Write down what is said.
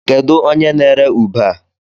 Kedu onye n'ere ube a?